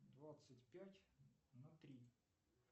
двадцать пять на три